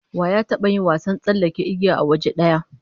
Wa ya taba yin wasan tsallake igiya a waje daya?